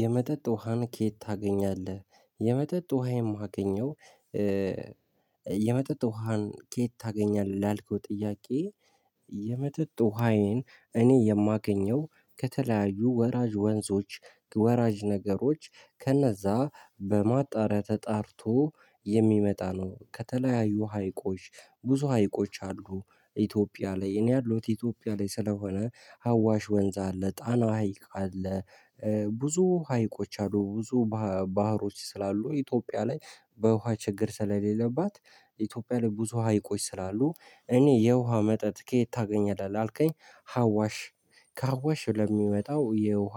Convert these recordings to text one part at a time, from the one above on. የመጠጥ ውሃን ከየት ታገኛለህ የመጠጥ ውሃ የማገኘው የመጠጥ ውሃን ከየት ታገኛለህ ላልከው ጥያቄ? የመጠጥ ውሃዬን እኔ የማገኘው ከተለያዩ ወራጅ ወንዞች ወራጅ ነገሮች ከነዛ በማጣሪያ ተጣርቶ የሚመጣ ነው። ከተለያዩ ሀይቆች ብዙ ሀይቆች አሉ ኢትዮጵያ ላይ እኔ ያለውት ኢትዮጵያ ላይ ስለሆነ ሀዋሽ ወንዝ አለ ጣና ሀይቅ አለ። ብዙ ሀይቆች አሉ ብዙ ባህሮች ስላሉ ኢትዮጵያ ላይ በውሃ ችግር ስለሌለባት ኢትዮጵያ ላይ ብዙ ሀይቆች ስላሉ እኔ የውሃ መጠጥ ከየት ታገኛለህ ላልከኝ? ሀዋሽ ከሀዋሽ ለሚመጣው የውሃ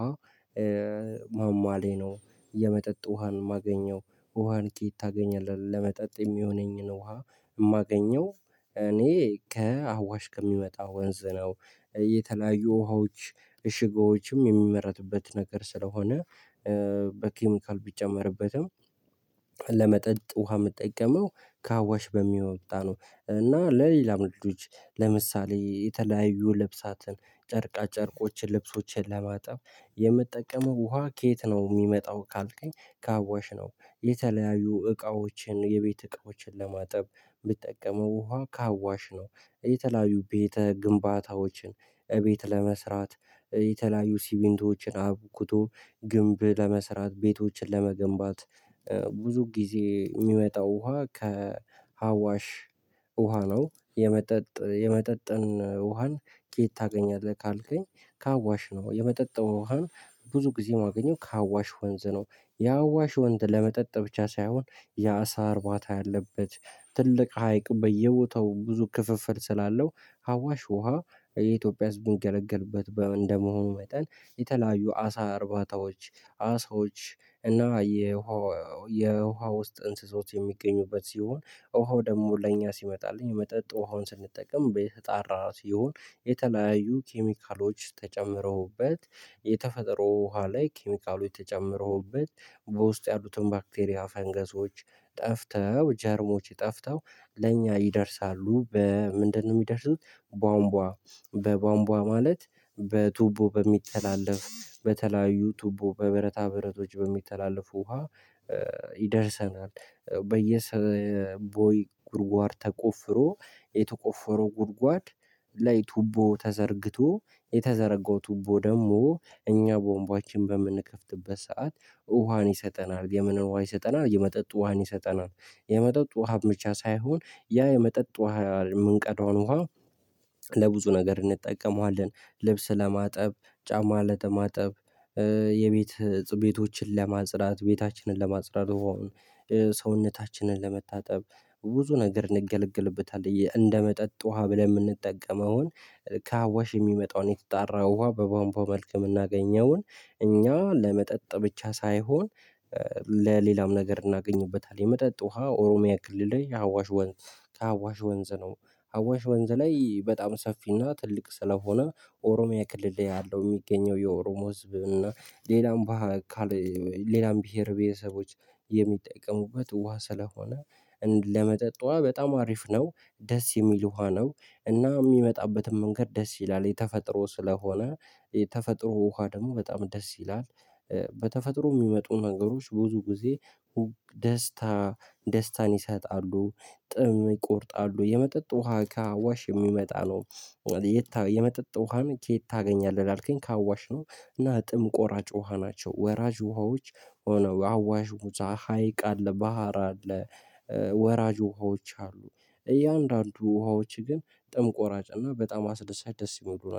ማሟ ላይ ነው። የመጠጥ ውሃን ማገኘው ውሃን ከየት ታገኛለህ? ለመጠጥ የሚሆነኝን ውሃ የማገኘው እኔ ከአዋሽ ከሚመጣ ወንዝ ነው። የተለያዩ ውሃዎች እሽጎዎችም የሚመረቱበት ነገር ስለሆነ። በኬሚካል ቢጨመርበትም። ለመጠጥ ውሃ የምጠይቀመው ከአዋሽ በሚወጣ ነው። እና ለሌላ ነገሮች ለምሳሌ የተለያዩ ልብሳትን ጨርቃ ጨርቆችን ልብሶችን ለማጠብ የምትጠቀመው ውሃ ከየት ነው የሚመጣው ካልከኝ ካዋሽ ነው። የተለያዩ እቃዎችን የቤት እቃዎችን ለማጠብ ምጠቀመው ውሃ ከአዋሽ ነው። የተለያዩ ቤተ ግንባታዎችን እቤት ለመስራት የተለያዩ ሲሚንቶዎችን አብኩቶ ግንብ ለመስራት ቤቶችን ለመገንባት ብዙ ጊዜ የሚመጣው ውሃ ከሀዋሽ ውሃ ነው። የመጠጥ የመጠጥን ውሃን ከየት ታገኛለህ ካልከኝ? ከአዋሽ ነው የመጠጥ ውሃን ብዙ ጊዜ የማገኘው ከአዋሽ ወንዝ ነው። የአዋሽ ወንዝ ለመጠጥ ብቻ ሳይሆን የአሳ አርባታ ያለበት ትልቅ ሀይቅ በየቦታው ብዙ ክፍፍል ስላለው ሀዋሽ ውሃ የኢትዮጵያ ህዝብ ሚገለገልበት እንደመሆኑ መጠን የተለያዩ አሳ እርባታዎች አሳዎች እና የውሃ የውሃ ውስጥ እንሰሳት የሚገኙበት ሲሆን ውሃው ደግሞ ለእኛ ሲመጣልኝ መጠጥ ውሃውን ስንጠቀም በየተጣራ ሲሆን። የተለያዩ ኬሚካሎች ተጨምረውበት የተፈጠሮ ውሃ ላይ ኬሚካሎች ተጨምረውበት በውስጡ ያሉትን ባክቴሪያ ፈንገሶች ጠፍተው ጀርሞች ጠፍተው ለእኛ ይደርሳሉ በምንድነው የሚደርሱት? ቧንቧ በቧንቧ ማለት በቱቦ በሚተላለፍ በተለያዩ ቱቦ በብረታ ብረቶች በሚተላለፉ ውሃ ይደርሰናል። በየሰበየ ቦይ ጉድጓድ ተቆፍሮ የተቆፈረው ጉድጓድ ላይ ቱቦ ተዘርግቶ የተዘረጋው ቱቦ ደግሞ እኛ ቧንቧችን በምንከፍትበት ሰዓት ውሃን ይሰጠናል የምን ውሃ ይሰጠናል። የመጠጥ ውሃን ይሰጠናል። የመጠጥ ውሃ ብቻ ሳይሆን ያ የመጠጥ ውሃ የምንቀዳውን ውሃ ለብዙ ነገር እንጠቀመዋለን። ልብስ ለማጠብ ጫማ ለማጠብ የቤት እፅ ቤቶችን ለማጽራት ቤታችንን ለማጽራት ውሃውን። ሰውነታችንን ለመታጠብ ብዙ ነገር እንገለግልበታለን። እንደመጠጥ ውሃ ብለን የምንጠቀመውን ካአዋሽ የሚመጣውን የተጣራ ውሃ በቧምቧ መልክ የምናገኘውን እኛ ለመጠጥ ብቻ ሳይሆን። ለሌላም ነገር እናገኝበታለን። የመጠጥ ውሃ ኦሮሚያ ክልል ላይ የሀዋሽ ወንዝ ከሀዋሽ ወንዝ ነው። ሀዋሽ ወንዝ ላይ በጣም ሰፊና ትልቅ ስለሆነ ኦሮሚያ ክልል ያለው የሚገኘው የኦሮሞ ህዝብ እና ሌላም ባህር ሌላም ብሄር ቤተሰቦች የሚጠቀሙበት ውሃ ስለሆነ ለመጠጥ ውሃ በጣም አሪፍ ነው። ደስ የሚል ውሃ ነው። እና የሚመጣበትን መንገድ ደስ ይላል የተፈጥሮ ስለሆነ የተፈጥሮ ውሃ ደግሞ በጣም ደስ ይላል። በተፈጥሮ የሚመጡ ነገሮች ብዙ ጊዜ ደስታ ደስታን ይሰጣሉ። ጥም ይቆርጣሉ የመጠጥ ውሃ ከአዋሽ የሚመጣ ነው። የመጠጥ ውሃን ከየት ታገኛለህ ላልከኝ? ካዋሽ ነው። እና ጥም ቆራጭ ውሃ ናቸው ወራጅ ውሃዎች። አዋሽ ሙዛ ሀይቅ አለ ባህር አለ። ወራጅ ውሃዎች አሉ። እያንዳንዱ ውሃዎች ግን ጥም ቆራጭ እና በጣም አስደሳች ደስ እሚሉ